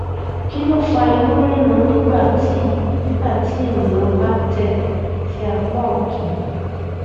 kí ló fa inú rírun nígbà tí nígbà tí ènìyàn bá tẹ sí apá ọtún